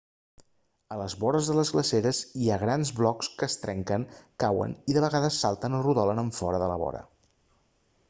a les vores de les glaceres hi ha grans blocs que es trenquen cauen i de vegades salten o rodolen enfora de la vora